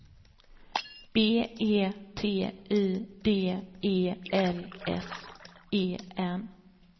B E T Y D E L S E N